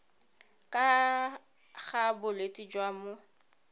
ka ga bolwetse jwa mo